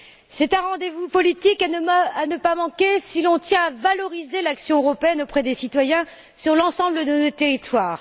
C'est un rendez vous politique à ne pas manquer si l'on tient à valoriser l'action européenne auprès des citoyens sur l'ensemble de notre territoire.